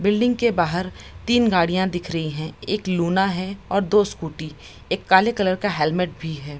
Building के बाहर तीन गाड़ियां दिख रही है एक लूना है और दो स्कूटी एक काले कलर का हेलमेट भी है।